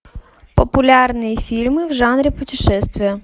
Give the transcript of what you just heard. популярные фильмы в жанре путешествия